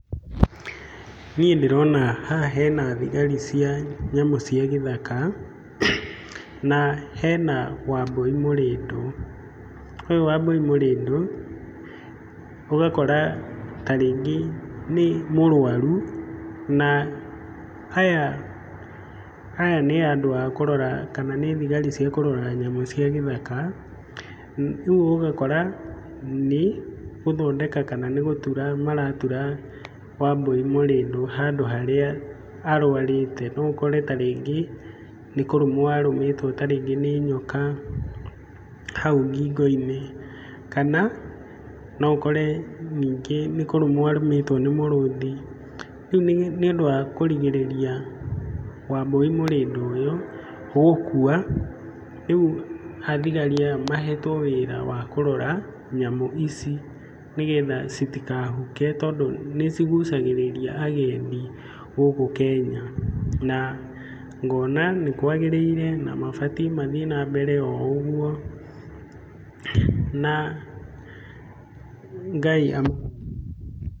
Niĩ ndĩrona haha hena thigari cia nyamũ cia gĩthaka, na hena wambũi mũrĩndũ, ũyũ wambũi mũrĩndũ ũgakora ta rĩngĩ nĩ mũrwaru, na aya nĩ andũ a kũrora kana nĩ thigari cia kũrora nyamũ cia gĩthaka, rĩu ũgakora nĩ gũthondeka kana nĩ gũtura maratura wambũi mũrĩndũ handũ harĩa arwarĩte, no ũkore ta rĩngĩ nĩ kũrũmwo arũmĩtwo ta rĩngĩ nĩ nyoka hau ngingo-inĩ, kana no ũkore nĩngĩ nĩ kũrũmwo arũmĩtwo nĩ mũrũthi, rĩu nĩũndũ wa kũrigĩrĩria wambũi mũrĩndũ ũyũ gũkua, rĩu athigari aya mahetwo wĩra wa kũrora nyamũ ici, nĩgetha citikahuke, tondũ nĩ cigucagĩrĩria agendi gũkũ Kenya na ngona nĩ kwagĩrĩire na mabatiĩ mathiĩ na mbere o ũguo, na Ngai amarathime.